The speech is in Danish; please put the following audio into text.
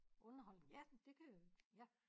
Underholdning ja det kan ja